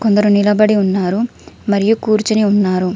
కొందరు నిలబడి ఉన్నారు మరియు కూర్చుని ఉన్నారు.